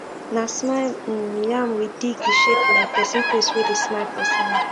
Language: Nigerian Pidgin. na smile um yam we dig e shape like person face wey dey smile for sand